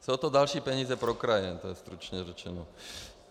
Jsou to další peníze pro kraje, jen tak stručně řečeno.